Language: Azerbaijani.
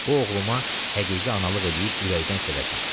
bu oğluma həqiqi analıq eləyib ürəkdən sevəsən.